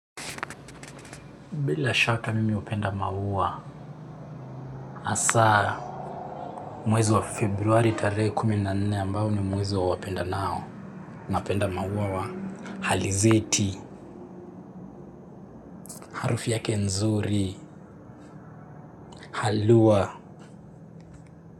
Bila shaka mimi hupenda maua, hasa mwezi wa februari tarehe kumi na nne ambao ni mwezi wa wapenda nao. Napenda maua wa halizeti, harufu yake nzuri, haluwa.